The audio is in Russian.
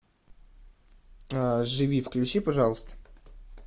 живи включи пожалуйста